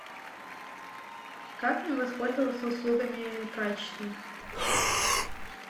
как мне воспользоваться услугами прачечной